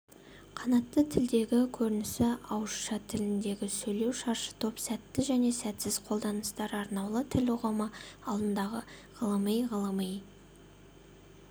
қанатты тілдегі көрінісі ауызша тіліндегі сөйлеу шаршытоп сәтті және сәтсіз қолданыстар арнаулы тіл ұғымы алдындағы ғылыми ғылыми